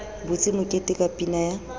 butse mokete ka pina ya